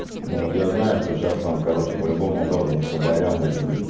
ну вот я знаю что сейчас там короче по-любому должен ещё байрам быть